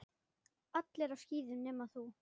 Allir á skíðum nema þú.